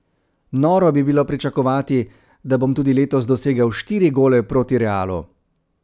Noro bi bilo pričakovati, da bom tudi letos dosegel štiri gole proti Realu.